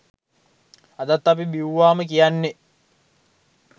අදත් අපි බිවුවහම කියන්නෙ